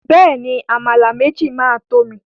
Bẹ́ẹ̀ni, Àmàlà méjì máa to mi.